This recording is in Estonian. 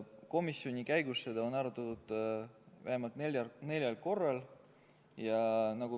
Komisjonis on seda arutatud vähemalt neljal korral.